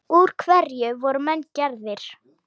Úr hverju voru menn gerðir?